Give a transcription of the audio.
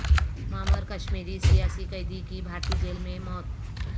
معمر کشمیری سیاسی قیدی کی بھارتی جیل میں موت